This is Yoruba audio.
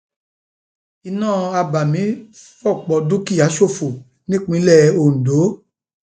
iná abàmì fọpọ dúkìá ṣòfò nípínlẹ ondo